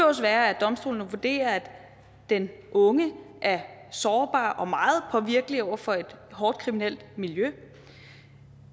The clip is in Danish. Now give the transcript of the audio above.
også være at domstolene vurderer at den unge er sårbar og meget påvirkelig over for et hårdt kriminelt miljø